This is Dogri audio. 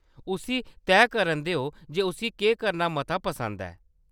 उसी तैऽ करन देओ जे उस्सी केह्‌‌ करना मता पसंद ऐ।